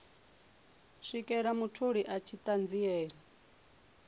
swikela mutholi a tshi ṱanziela